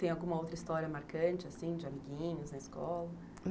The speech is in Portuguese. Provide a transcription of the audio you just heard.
Tem alguma outra história marcante assim de amiguinhos na escola?